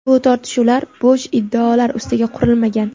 bu tortishuvlar bo‘sh iddaolar ustiga qurilmagan.